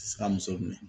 Sika muso minɛ